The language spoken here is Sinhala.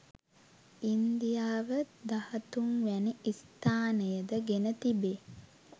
ඉන්දියාව දහතුන් වැනි ස්ථානය ද ගෙන තිබේ